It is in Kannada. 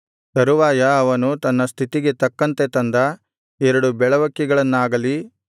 ತರುವಾಯ ಅವನು ತನ್ನ ಸ್ಥಿತಿಗೆ ತಕ್ಕಂತೆ ತಂದ ಎರಡು ಬೆಳವಕ್ಕಿಗಳನ್ನಾಗಲಿ